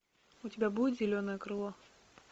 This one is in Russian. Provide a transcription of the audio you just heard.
у тебя будет зеленое крыло